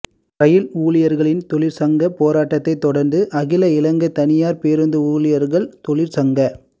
ரயில் ஊழியர்களின் தொழிற்சங்க போராட்டத்தை தொடர்ந்து அகில இலங்கை தனியார் பேருந்து ஊழியர்கள் தொழிற்சங்க